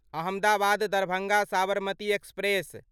Ahmedabad Darbhanga Sabarmati express